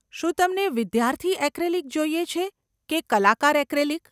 શું તમને વિદ્યાર્થી એક્રિલિક જોઈએ છે કે કલાકાર એક્રિલિક?